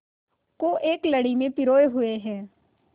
को एक लड़ी में पिरोए हुए हैं